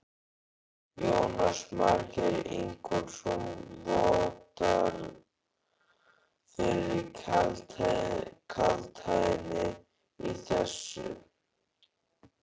Jónas Margeir Ingólfsson: Vottar fyrir kaldhæðni í þessu?